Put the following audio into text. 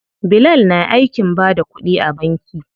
Bilal na aikin bada kuɗi a banki.